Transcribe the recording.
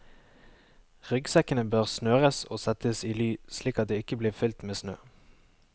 Ryggsekkene bør snøres og settes i ly slik at de ikke blir fylt med snø.